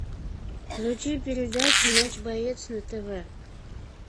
включи передачу матч боец на тв